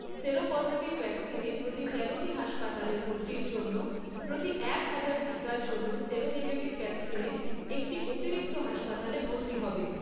Seropositive ভ্যাকসিনে প্রতি তেরোটি হাসপাতালে ভর্তির জন্য প্রতি একহাজার টিকার জন্য সেরোনেগেটিভ ভ্যাকসিনে একটি অতিরিক্ত হাসপাতালে ভর্তি হবে।